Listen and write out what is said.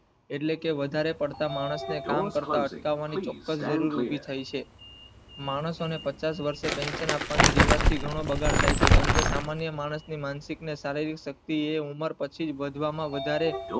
એટલે કે વધારે પડતા માણસ ને કામ કરતા અટકાવાની ચોક્સ જરૂર ઉભી થઈ છે માણસો ને પચાસ વર્ષે પેંશન આપવાની થી ઘણો બગાડ થઈ છે કેમકે સમય માણસ માનસિક ને શારીરિક શક્તિ એ ઉમર પછી વધવામાં વધારે